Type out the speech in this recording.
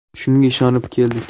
Shunga ishonib keldik.